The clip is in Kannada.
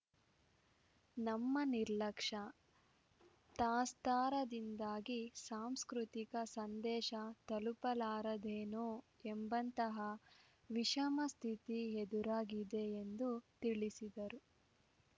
ನಮ್ಮ ನಿರ್ಲಕ್ಷ್ಯ ತಾತ್ಸಾರದಿಂದಾಗಿ ಸಾಂಸ್ಕೃತಿಕ ಸಂದೇಶ ತಲುಪಲಾರದೇನೋ ಎಂಬಂತಹ ವಿಷಮಸ್ಥಿತಿ ಎದುರಾಗಿದೆ ಎಂದು ತಿಳಿಸಿದರು